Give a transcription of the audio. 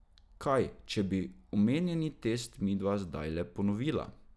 Kaj, če bi omenjeni test midva zdajle ponovila?